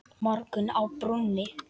Morgunn á brúnni